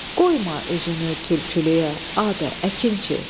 Qoyma özünü tülkülüyə, Adə, əkinçi.